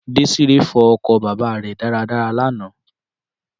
Désíre fọ ọkọ̀ bàbà rè dára dára l'ana